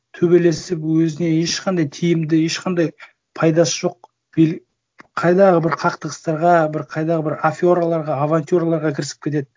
төбелесіп өзіне ешқандай тиімді ешқандай пайдасы жоқ қайдағы бір қақтығыстарға бір қайдағы бір афераларға авантюраларға кірісіп кетеді